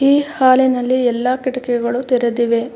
ಈ ಹಾಲಿನಲ್ಲಿ ಎಲ್ಲಾ ಕಿಟಕಿಗಳು ತೆರೆದಿವೆ.